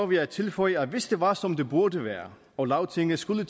vil jeg tilføje at hvis det var som det burde være og lagtinget skulle